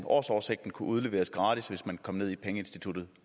årsoversigten kunne udleveres gratis hvis man kom ned i pengeinstituttet